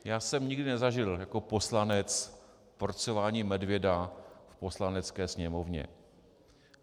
Já jsem nikdy nezažil jako poslanec porcování medvěda v Poslanecké sněmovně.